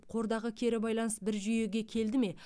қордағы кері байланыс бір жүйеге келді ме